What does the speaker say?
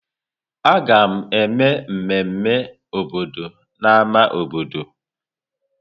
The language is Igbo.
A ga-eme mmemme obodo na ámá obodo.